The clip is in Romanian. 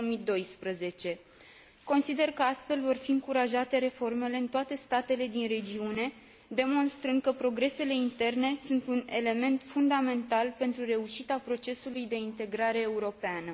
2012. Consider că astfel vor fi încurajate reformele în toate statele din regiune, demonstrând că progresele interne sunt un element fundamental pentru reușita procesului de integrare europeană.